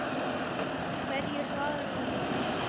Hverju svararðu þessu?